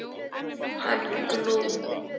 Hann Glúm.